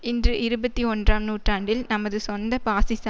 இன்று இருபத்தி ஒன்றாம் நூற்றாண்டில் நமது சொந்த பாசிச